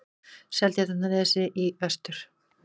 Seltjarnarnesi í vestur.